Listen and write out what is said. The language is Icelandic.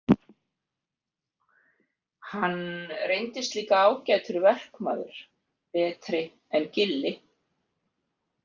Hann reyndist líka ágætur verkmaður, betri en Gilli.